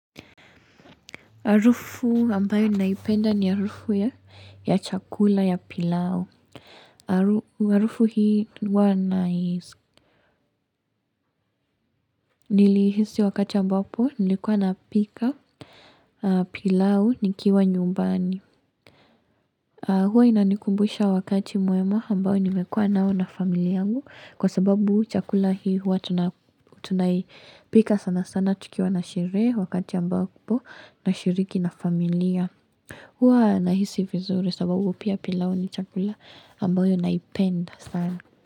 Harufu ambayo ninaipenda ni harufu ya chakula ya pilau. Harufu hii huwa nai niliihisi wakati ambapo nilikuwa napika pilau nikiwa nyumbani. Huwa inanikumbusha wakati mwema ambayo nimekuwa nao na familia yangu kwa sababu chakula hii huwa tunaipika sana sana tukiwa na sherehe wakati ambapo nashiriki na familia. Huwa nahisi vizuri sababu pia pilau ni chakula ambayo naipenda sana.